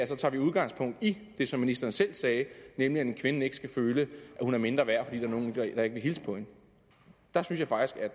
tager udgangspunkt i det som ministeren selv sagde nemlig at en kvinde ikke skal føle at hun er mindre værd fordi der er nogen der ikke vil hilse på hende